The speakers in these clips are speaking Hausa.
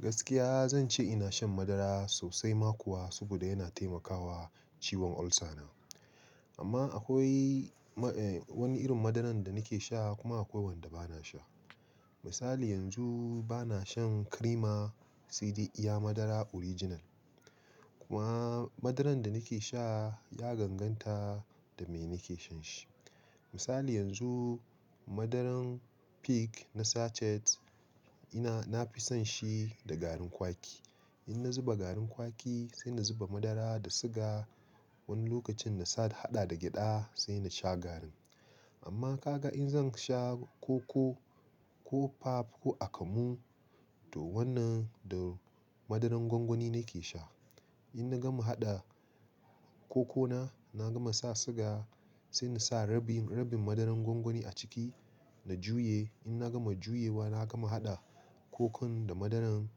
Gaskiya zan ce ina shan madara sosai ma kuwa, saboda yana taimakawa ciwon ulcer na. Amma akwai ma, eh, wani irin madaran da nake sha kuma akwai wanda ba na sha. Misali yanzu ba na shan creamer, sai dai iya madara original. Kuma madaran da nake sha ya ganganta da me nake shan shi. Misali yanzu, madaran Peak na sachet ina, na fi son shi da garin kwaki. In na zuba garin kwaki, sai na zuba madara da siga, wani lokacin na sa hada da gyada sai na sha garin. Amma ka ga in zan sha koko ko pap ko akamu, to wannan da madaran gwangwani nake sha. In na gama haɗa kokona, na gama sa siga, sai na sa rabin, rabin madaran gwangwani a ciki na juye. In na gama juyewa, na gama haɗa kokon da madaran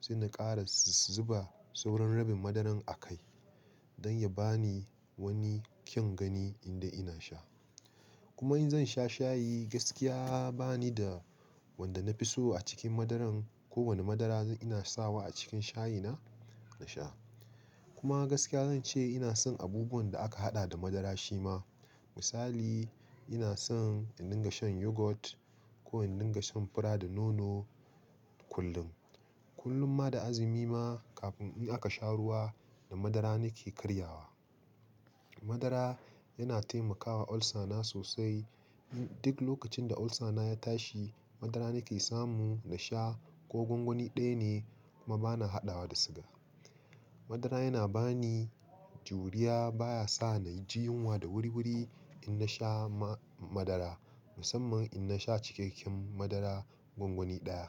sai na ƙara zuba sauran rabin madaran a kai don ya ba ni wani kyan gani indai ina sha. Kuma in zan sha shayi, gaskiya ba ni da wanda na fi so a cikin madaran. Ko wane madara ina sawa a cikin shayina na sha. Kuma gaskiya zan ce ina son abubuwan da aka haɗa da madara shi ma. Misali ina son in dinga shan yogurt ko in dinga shan fura da nono kullum. Kullum ma da azumi ma kafin in aka sha ruwa, da madara nake karyawa. Madara yana taimakawa ulcer na sosai. Duk lokacin da ulcer na ya tashi, madara nake samu na sha ko gwangwani ɗaya ne kuma ba na haɗawa da siga. Madara yana ba ni juriya, baya sa na ji yunwa da wuri-wuri in na sha ma madara musamman in na sha cikakken madara gwangwani ɗaya.